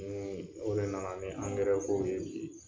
o de nana ni kow ye bi.